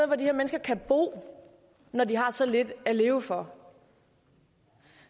hvor de her mennesker kan bo når de har så lidt at leve for